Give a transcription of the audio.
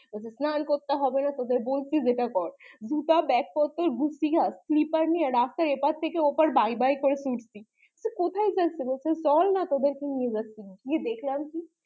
স্নান করতে হবেনা তোদের যেটা বলছি ওটা কর দুটা ব্যাগ পত্র গুটিয়ে slipper নিয়ে রাস্তায় এপার থেকে ওপর পাই পাই করে ছুটছি কোথায় যাচ্ছি বলছে তোদের কে নিয়ে যাচ্ছি গিয়ে দেখলাম কি